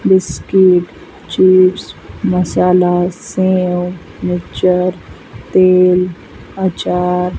biscuit chips masala सेव mixture तेल अचार --